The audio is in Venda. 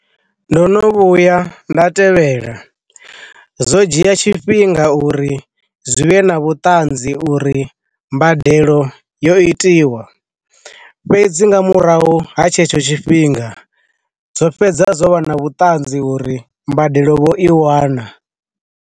Ndo no vhuya nda tevhela, zwo dzhia tshifhinga uri zwi vhe na vhuṱanzi uri mbadelo yo itiwa, fhedzi nga murahu ha tshetsho tshifhinga zwo fhedza zwo vha na vhuṱanzi uri mbadelo vho i wana.